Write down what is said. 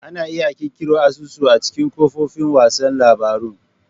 Ana iya ƙirƙirar asusun a cikin kafofin watsa labarun.